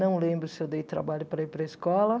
Não lembro se dei trabalho para ir para a escola.